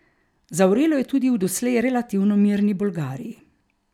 Zavrelo je tudi v doslej relativno mirni Bolgariji.